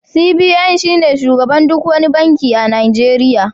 CBN shine shugaban duk wani banki a Najeriya